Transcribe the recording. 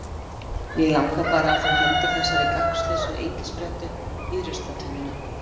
mig langar bara að þú hendir þessari gagnslausu engisprettu í ruslatunnuna